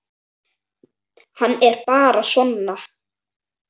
Hann er bara svona.